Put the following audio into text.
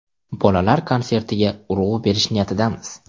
Bolalar konsertiga urg‘u berish niyatidamiz.